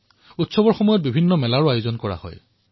এই উপলক্ষে বহু মেলাৰ আয়োজন কৰা হৈছে